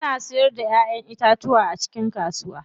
Ana siyar da Ƴaƴan itatuwa a cikin kasuwar wuse.